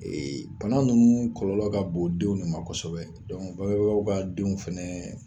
bana nunnu kɔlɔlɔ ka bon denw ne ma kɔsɛbɛ. bangebagaw ka denw fɛnɛ